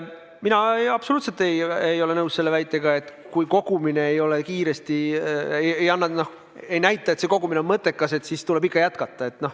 Mina absoluutselt ei ole nõus selle väitega, et kui kogumine kiiresti ei näita, et see kogumine on mõttekas, siis tuleb ikka jätkata.